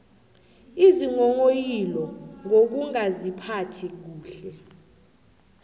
isinghonghoyilo ngokungaziphathi kuhle